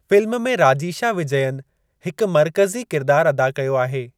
Film में राजीशा विजयन हिक मर्कज़ी किरदार अदा कयो आहे।